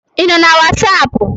Ị nọ na Wasapu?